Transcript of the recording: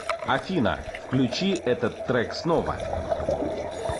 афина включи этот трек снова